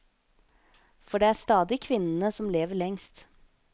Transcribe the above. For det er stadig kvinnene som lever lengst.